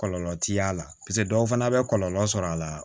Kɔlɔlɔ ti y'a la paseke dɔw fana bɛ kɔlɔlɔ sɔrɔ a la